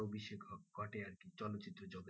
অভিষেক ঘটে আরকি চলচ্চিত্র জগতে।